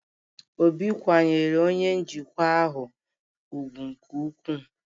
Obi kwanyere onye njikwa ahụ ugwu nke ukwuu